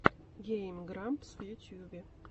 гейм грампс в ютьюбе